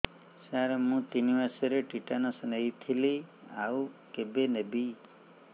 ସାର ମୁ ତିନି ମାସରେ ଟିଟାନସ ନେଇଥିଲି ଆଉ କେବେ ନେବି